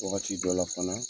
Wagati dɔ la fana